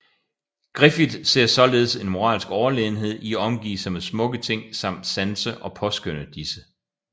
Griffith ser således en moralsk overlegenhed i at omgive sig med smukke ting samt sanse og påskønne disse